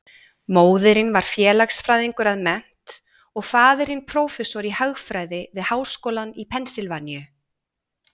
Móðirin var félagsfræðingur að mennt og faðirinn prófessor í hagfræði við háskólann í Pennsylvaníu.